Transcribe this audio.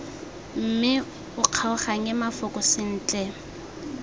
mme o kgaoganye mafoko sentle